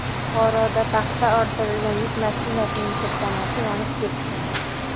Buxoroda paxta ortilgan yuk mashinasining tirkamasi yonib ketdi.